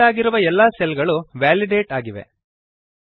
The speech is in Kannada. ಸೆಲೆಕ್ಟ್ ಆಗಿರುವ ಎಲ್ಲಾ ಸೆಲ್ ಗಳು ವೇಲಿಡೇಟ್ ಆಗಿವೆ